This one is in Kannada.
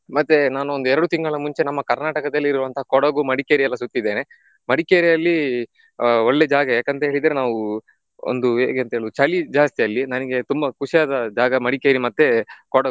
ಮತ್ತೆ ನಾನೊಂದು ಎರಡು ತಿಂಗಳ ಮುಂಚೆ ನಮ್ಮ ಕರ್ನಾಟಕದಲ್ಲಿ ಇರುವಂತ ಕೊಡಗು, ಮಡಿಕೇರಿ ಎಲ್ಲ ಸುತ್ತಿದ್ದೇನ. ಮಡಿಕೇರಿಯಲ್ಲಿ ಆ ಒಳ್ಳೆ ಜಾಗ ಯಾಕಂತ ಹೇಳಿದ್ರೆ ನಾವು ಒಂದು ಹೇಗೆ ಅಂತ ಹೇಳ್ಬೇಕು ಚಳಿ ಜಾಸ್ತಿ ಅಲ್ಲಿ ನನಿಗೆ ಖುಷಿಯಾದ ಜಾಗ ಮಡಿಕೇರಿ ಮತ್ತೆ ಕೊಡಗು.